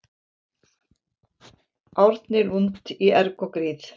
Árni Lund í erg og gríð